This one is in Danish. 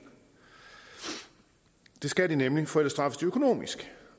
det skal de nemlig for ellers straffes de økonomisk